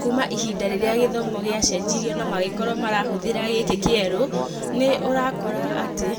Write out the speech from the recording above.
Kuma ihinda rĩrĩa gĩthomo gĩacenjirio na magĩkorwo marahũthĩra gĩkĩ kĩeru, nĩ ũrakora atĩ